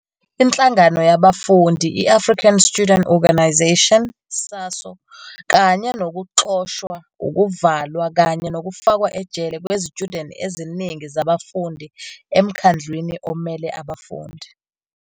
Inhlangano yabafundi i-African Student Organisation, SASO, kanye nokuxoshwa, ukuvalwa kanye nokufakwa ejele kwezitshudeni eziningi zabafundi eMkhandlwini Omele Abafundi.